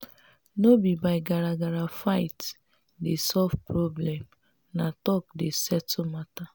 no be by garagara fight dey solve problem na talk dey settle matter.